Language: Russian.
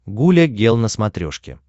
гуля гел на смотрешке